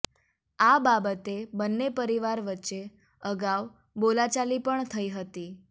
આ બાબતે બંને પરિવાર વચ્ચે અગાઉ બોલાચાલી પણ થઇ હતી